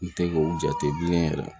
N te k'o jate bilen yɛrɛ